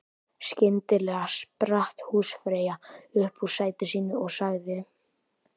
Skyndilega spratt húsfreyja upp úr sæti sínu og sagði